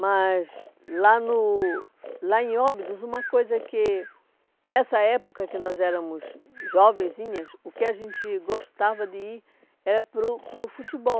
Mas lá no lá em Óbidos, uma coisa que... Nessa época que nós éramos jovenzinhas, o que a gente gostava de ir era para o para o futebol.